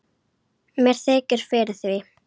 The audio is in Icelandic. Mér þykir fyrir því.